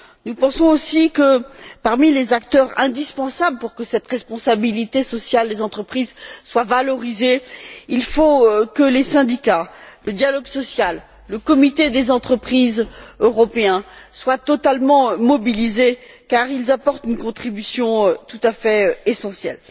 Nous pensons aussi que, parmi les acteurs indispensables pour que cette responsabilité sociale des entreprises soit valorisée, il faut que les syndicats, le dialogue social, les comités d'entreprise européens soient totalement mobilisés car ils apportent une contribution tout à fait essentielle.